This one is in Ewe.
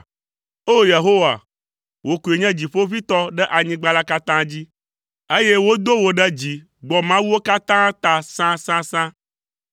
O! Yehowa, wò koe nye Dziƒoʋĩtɔ ɖe anyigba la katã dzi, eye wodo wò ɖe dzi gbɔ mawuwo katã ta sãsãsã.